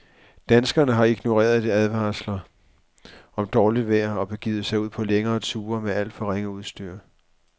Danskerne har ignoreret advarsler om dårligt vejr og begivet sig ud på længere ture med alt for ringe udstyr.